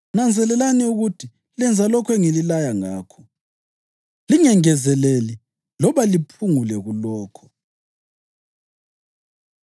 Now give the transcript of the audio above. Nanzelelani ukuthi lenza lokho engililaya ngakho, lingengezeleli loba liphungule kulokho.”